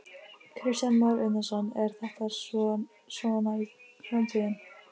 Kristján Már Unnarsson: Er þetta svona framtíðin?